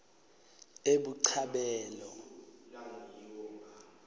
ebuchabelo